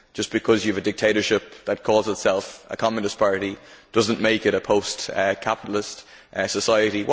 Just because you have a dictatorship that calls itself a communist party does not make it a post capitalist society.